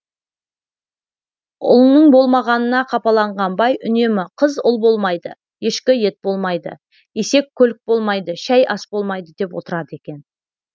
ұлының болмағанына қапаланған бай үнемі қыз ұл болмайды ешкі ет болмайды есек көлік болмайды шәй ас болмайды деп отырады екен